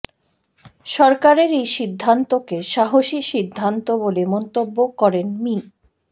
সরকারের এই সিদ্ধান্তকে সাহসী সিদ্ধান্ত বলে মন্তব্য করেন মি